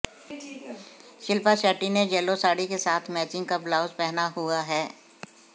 शिल्पा शेट्टी ने येलो साड़ी के साथ मैचिंग का ब्लाउज पहना हुआ हैं